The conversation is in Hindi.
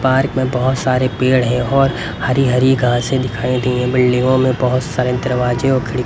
पार्क में बहोत सारे पेड़ है और हरी हरी घासे दिखाई दे रही है बिल्डिंगों में बहोत सारे दरवाजे और खिड़ --